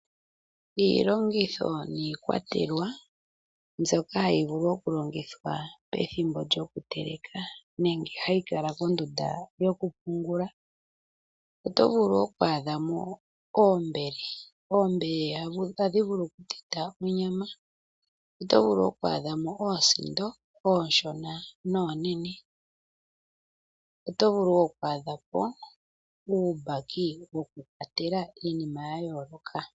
Iilongitho nikwatelwa mbyoka hayi vulu oku longithwa pethimbo lyoku teleka nenge hayi kala kondunda yokupungula oto vulu oku adhamo oombele, oombele ohadhi vulu oku teta onyama oto vulu oku adhamo oosindo oonshona noonene oto vulu oku adhamo uumbaki woku kwatela iinima yayooloka.